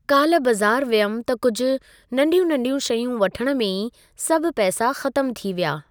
काल्ह बज़ारि वियमि त कुझु, नंढियू नंढियूं शयूं वठण में ई सभु पैसा ख़तमु थी विया।